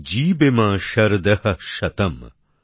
জীবেম শরদহ্ শতম্